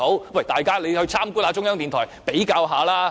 那請大家參觀中央電台比較一下吧。